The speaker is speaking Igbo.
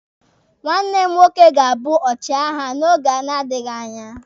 Nwanne m nwoke ga-abụ ọchịagha n'oge na-adịghi anya.